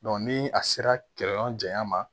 ni a sera kɛ yɔrɔ janya ma